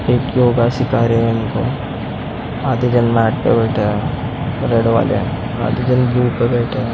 एक योगा सीखा रहे उनको आधे जन मैट पे बैठे है रेड वाले आधे जन ब्लू पे बैठे है।